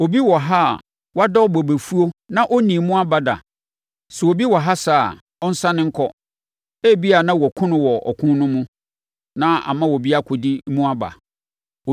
Obi wɔ ha a wadɔ bobefuo na ɔnnii mu aba da? Sɛ obi wɔ ha saa a, ɔnsane nkɔ! Ebia na wɔakum no wɔ ɔko no mu, na ama obi akɔdi mu aba.